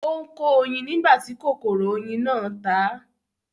Ó ń kó oyin nígbà tí kòkòrò oyin náà ta á